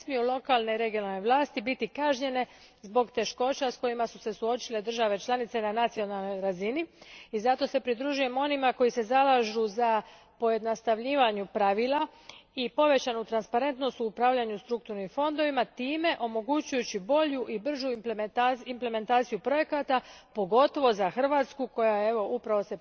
Ne smiju lokalne i regionalne vlasti biti kažnjene zbog teškoća s kojima su se suočile države članice na nacionalnoj razini i zato se pridružujem onima koji se zalažu za pojednostavljivanje pravila i povećanu transparentnost u upravljanju strukturnim fondovima, time omogućujući bolju i bržu implementaciju projekata, pogotovo za Hrvatsku koja se upravo